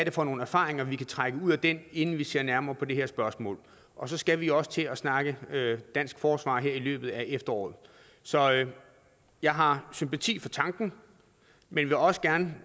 er for nogle erfaringer vi kan trække ud af den inden vi ser nærmere på det her spørgsmål og så skal vi også til at snakke dansk forsvar her i løbet af efteråret så jeg har sympati for tanken men vil også gerne